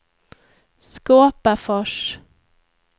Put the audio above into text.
Skåpafors